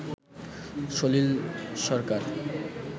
সলিল সরকার